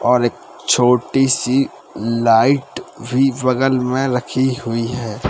और एक छोटी सी लाइट भी बगल में रखी हुई है।